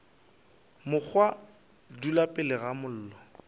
mokgwa dula pele ga mollo